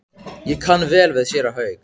Ég kann vel við séra Hauk.